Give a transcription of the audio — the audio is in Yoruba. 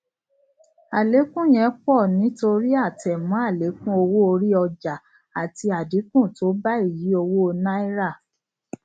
alekun yen pọ nítorí atẹmọ alekun owó orí ọjà àti adínkú tó bá ìyí owó náírà